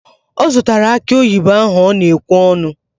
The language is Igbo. Ọ zụtara akị oyibo ahụ ọ na-ekwe ọnụ?